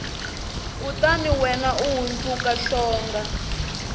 kutani wena u hundzuka hlonga